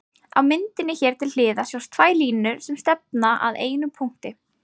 Á myndinni hér til hliðar sjást tvær línur sem stefna að einum punkti.